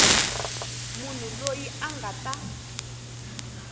munhu loyi a nga ta